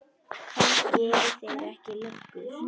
Kannski eru þeir ekki löggur.